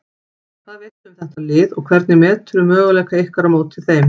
Hvað veistu um þetta lið og hvernig meturðu möguleika ykkar á móti þeim?